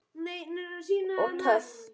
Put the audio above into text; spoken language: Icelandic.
Og töff.